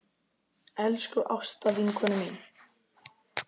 Elsku Ásta vinkona mín.